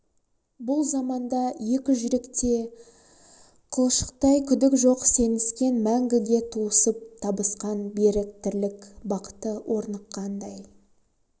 бұл заманда екі жүректе де қылшықтай күдік жоқ сеніскен мәңгіге туысып табысқан берік тірлік бақыты орныққандай